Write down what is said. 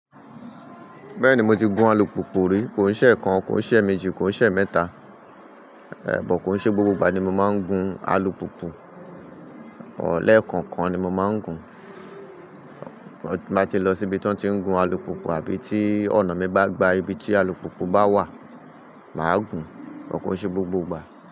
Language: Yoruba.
Bẹ́ẹ̀ni mo ti gun alùpùpù rí. Kò ń ṣe ẹ̀ kan, kò ń ṣe ẹ̀ méjì, kò ń ṣe ẹ̀ mẹ́ta, ẹ̀ bọ̀ kò ṣe gbogbo ìgbà ni mo máa ń gun alùpùpù. But lekookan ni mo máa ń gun. Bí mo bá ti lọ síbi tí wọ́n ti ń gun alùpùpù àbí tí ọ̀nà mi bá gba ibi tí alùpùpù bá wà, màá gùn, but kò ṣe gbogbo ìgbà.